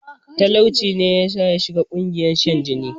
Talauci ne yasa yashiga ƙungiyar shan jini